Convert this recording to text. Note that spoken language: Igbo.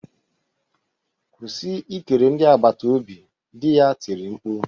Kwụsị ikele ndị agbata obi! di ya tiri mkpu